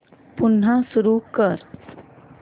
पुन्हा सुरू कर